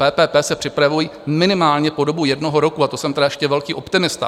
PPP se připravují minimálně po dobu jednoho roku, a to jsem tedy ještě velký optimista.